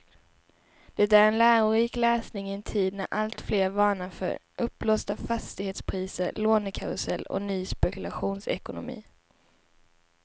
Det är en lärorik läsning i en tid när alltfler varnar för uppblåsta fastighetspriser, lånekarusell och ny spekulationsekonomi.